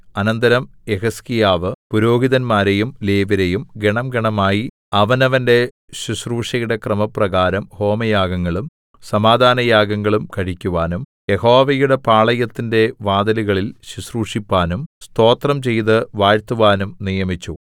അനന്തരം യെഹിസ്കീയാവ് പുരോഹിതന്മാരെയും ലേവ്യരെയും ഗണംഗണമായി അവനവന്റെ ശുശ്രൂഷയുടെ ക്രമപ്രകാരം ഹോമയാഗങ്ങളും സമാധാനയാഗങ്ങളും കഴിക്കുവാനും യഹോവയുടെ പാളയത്തിന്റെ വാതിലുകളിൽ ശുശ്രൂഷിപ്പാനും സ്തോത്രം ചെയ്ത് വാഴ്ത്തുവാനും നിയമിച്ചു